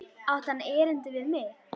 Átti hann erindi við mig?